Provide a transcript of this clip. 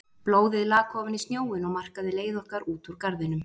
Blóðið lak ofan í snjóinn og markaði leið okkar út úr garðinum.